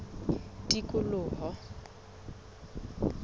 tikoloho